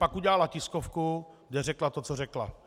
Pak udělala tiskovku, kde řekla to, co řekla.